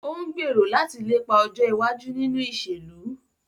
O ńgbero lati lepa ọjọ iwaju ninu iṣelu.